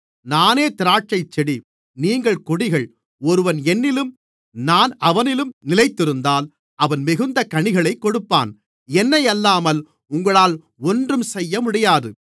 நானே திராட்சைச்செடி நீங்கள் கொடிகள் ஒருவன் என்னிலும் நான் அவனிலும் நிலைத்திருந்தால் அவன் மிகுந்த கனிகளைக் கொடுப்பான் என்னை அல்லாமல் உங்களால் ஒன்றும் செய்யமுடியாது